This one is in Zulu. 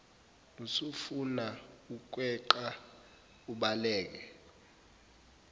usufuna ukweqa ubaleke